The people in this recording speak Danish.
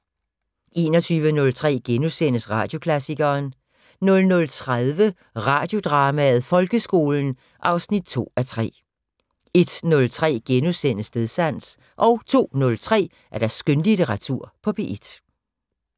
21:03: Radioklassikeren * 00:30: Radiodrama: Folkeskolen 2:3 01:03: Stedsans * 02:03: Skønlitteratur på P1